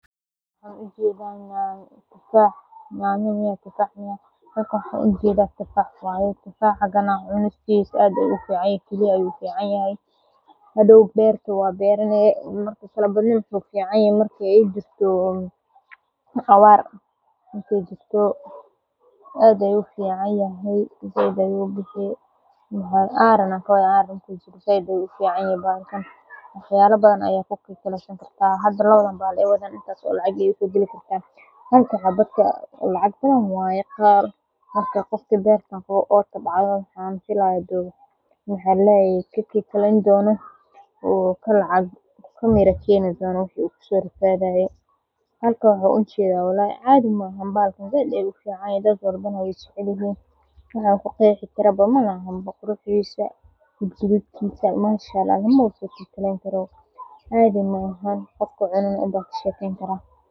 Halkan waxan ujeda tufa nyanya miyaa tufax miyaa waxan ujedo tufax waye, kiliyaha ayu ufican yahay meel aran ayu kufican yahay, halka merti lacag badan waye halka waxan ujeeda, manshaallah cadhi maahan qofki cuno ama kashekeyni karaa.